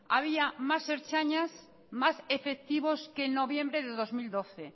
había más ertzainas más efectivos que en noviembre de dos mil doce